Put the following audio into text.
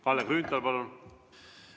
Kalle Grünthal, palun!